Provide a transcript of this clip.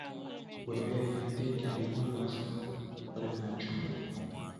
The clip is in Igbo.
Were ya dị ka ihe gbasara ikwere n’Chukwu.